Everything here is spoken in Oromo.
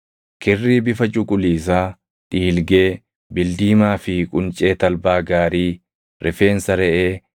Kirrii bifa cuquliisaa, dhiilgee, bildiimaa fi quncee talbaa gaarii, rifeensa reʼee,